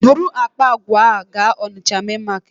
Buru akpa àgwà a gaa Onitsha main Market!